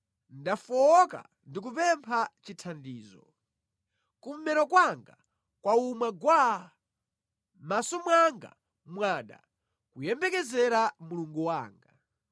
Ndafowoka ndikupempha chithandizo; kummero kwanga kwawuma gwaa, mʼmaso mwanga mwada kuyembekezera Mulungu wanga.